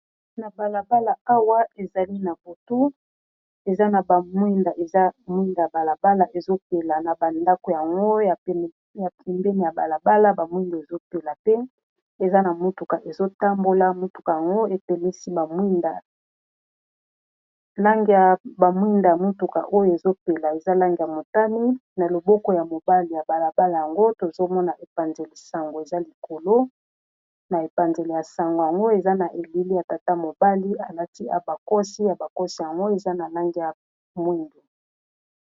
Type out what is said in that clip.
na balabala awa ezali na botu eza na bamwinda eza mwindaya balabala ezopela na bandako yango ya pembeni ya balabala ba mwinda ezopela pe eza na motuka ezotambola motuka yango etemisi lange ya bamwinda ya motuka oyo ezopela eza lange ya motani na loboko ya mobali ya balabala yango tozomona epanzele sango eza likolo na epanzele ya sango yango eza na elili ya tata mobali alaki abakosi ya bakosi yango eza na lange ya mwingu